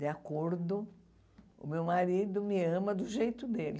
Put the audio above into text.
De acordo, o meu marido me ama do jeito dele.